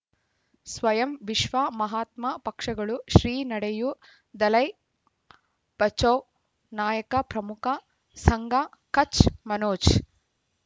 ಸ್ವಯಂ ವಿಶ್ವ ಮಹಾತ್ಮ ಪಕ್ಷಗಳು ಶ್ರೀ ನಡೆಯೂ ದಲೈ ಬಚೌ ನಾಯಕ ಪ್ರಮುಖ ಸಂಘ ಕಚ್ ಮನೋಜ್